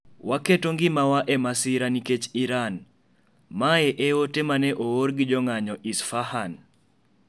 Waketo ngimawa e masira nikech Iran" mae e ote mane oor gi jong'anyo Isfahan.